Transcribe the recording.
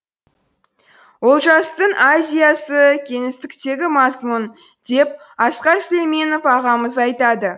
олжастың азия сы кеңістіктегі мазмұн деп асқар сүлейменов ағамыз айтады